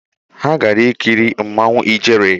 Ha gara ikiri Mmanwu Ijere